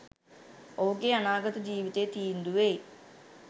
ඔහුගේ අනාගත ජීවිතය තීන්දු වෙයි